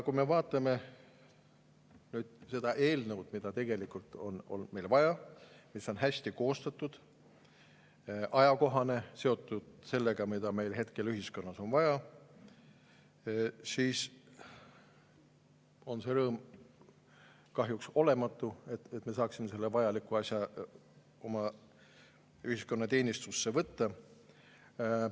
Kui me vaatame seda eelnõu, mida tegelikult on meile vaja, mis on hästi koostatud, ajakohane, seotud sellega, mida meil hetkel ühiskonnas vaja on, siis on kahjuks olematu see rõõm, et me saaksime selle vajaliku asja oma ühiskonna teenistusse võtta.